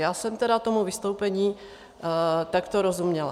Já jsem tedy tomu vystoupení takto rozuměla.